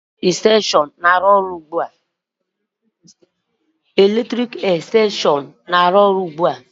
Mgbatị eletrik na-arụ ọrụ ugbu a?